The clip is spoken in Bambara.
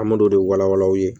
An m'o de walawala aw ye